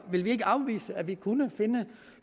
vil vi ikke afvise at vi kunne finde